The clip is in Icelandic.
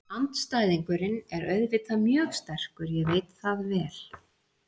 Andstæðingurinn er auðvitað mjög sterkur, ég veit það vel.